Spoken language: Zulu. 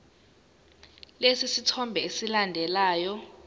lesi sithombe esilandelayo